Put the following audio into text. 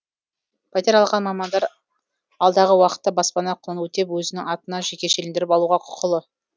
пәтер алған мамандар алдағы уақытта баспана құнын өтеп өзінің атына жекешелендіріп алуға құқылы